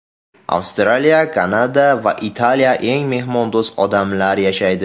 Avstraliya, Kanada va Italiyada eng mehmondo‘st odamlar yashaydi.